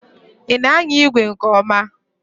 Ị na anya igwe nke ọma?